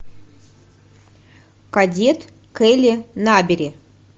кадет келли набери